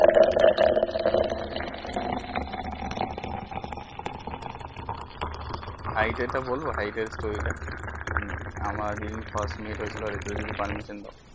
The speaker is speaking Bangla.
Hight আর এর টা বলবো hight এর story টা আমার যে দিন first meet হয়ে ছিল অরিত্রা যদি permission দাও